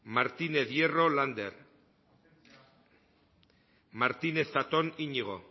martínez hierro lander martínez zatón iñigo